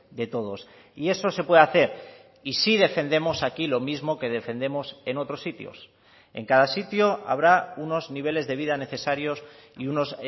de todos y eso se puede hacer y sí defendemos aquí lo mismo que defendemos en otros sitios en cada sitio habrá unos niveles de vida necesarios y unos